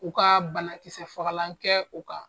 U ka banakisɛ fagalan kɛ u kan